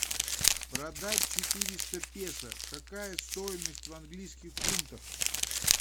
продать четыреста песо какая стоимость в английских фунтах